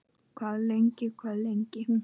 Hvað lengi, hvað lengi?